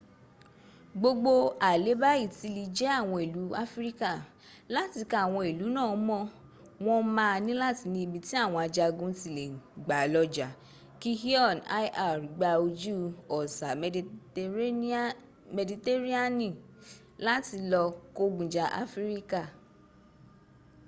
gbogbo aleba itili je awon ilu afirika lati ka awon ilu naa mo won maa nilati ni ibi ti awon ajagun ti le gba lo ja ki eon lr gba oju osa meditereniani lati lo kogun ja afirika